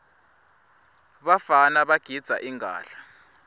bafana bagidza ingadla